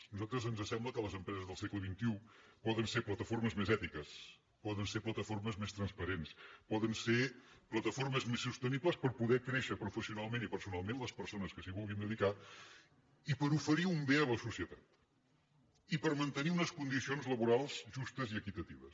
a nosaltres ens sembla que les empreses del segle xxi poden ser plataformes més ètiques poden ser plataformes més transparents poden ser plataformes més sostenibles per poder créixer professionalment i personalment les persones que s’hi vulguin dedicar i per oferir un bé a la societat i per mantenir unes condicions laborals justes i equitatives